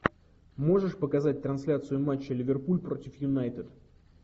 можешь показать трансляцию матча ливерпуль против юнайтед